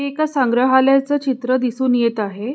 एक संग्रहालयाच चित्र दिसून येत आहे.